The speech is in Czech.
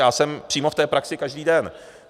Já jsem přímo v té praxi každý den.